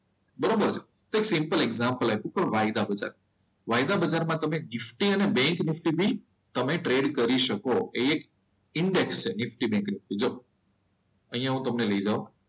બરોબર છે તો એક એક્ઝામ્પલ આપ્યું કે વાયદા બજાર છે. વાયદા બજારમાં તમે નિફ્ટી અને બેંક નિફ્ટી બી તમે ટ્રેડ કરી શકો. એક ઇન્ડેક્સ છે નિફ્ટી બેન્કનો. અહીંયા હું તમને લઈ જાઉં.